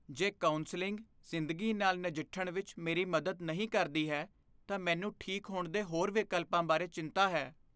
ਜੇ ਕਾਉਂਸਲਿੰਗ ਜ਼ਿੰਦਗੀ ਨਾਲ ਨਜਿੱਠਣ ਵਿੱਚ ਮੇਰੀ ਮਦਦ ਨਹੀਂ ਕਰਦੀ ਹੈ ਤਾਂ ਮੈਨੂੰ ਠੀਕ ਹੋਣ ਦੇ ਹੋਰ ਵਿਕਲਪਾਂ ਬਾਰੇ ਚਿੰਤਾ ਹੈ।